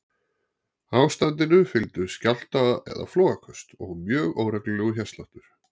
Ástandinu fylgdu skjálfta- eða flogaköst og mjög óreglulegur hjartsláttur.